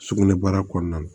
Sugunɛbara kɔnɔna na